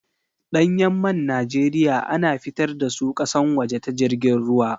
Ɗanyan man Najeriya a na fitar da su ƙasan waje ta jirgin ruwa.